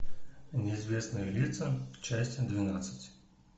неизвестные лица часть двенадцать